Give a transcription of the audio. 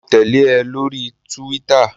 Mo tẹ̀lé ẹ lórí túwítà